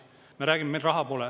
Me räägime, et meil raha pole.